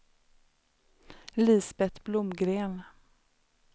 Lisbet Blomgren